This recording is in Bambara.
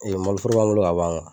Ee malo foro b'a bolo ka ban.